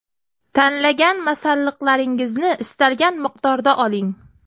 Tanlagan masalliqlaringizni istalgan miqdorda oling.